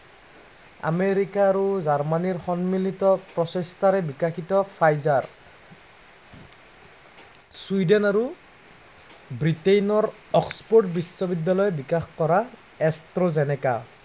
America আৰু জাৰ্মানীৰ সন্মিলিত প্ৰচেষ্টাৰে বিকশিত ফাইজাৰ চুইডেন আৰু ব্ৰিটেইনৰ অক্সফোৰ্ড বিশ্ববিদ্য়ালয়ে বিকাশ কৰা, এক্সট্ৰজেনিকা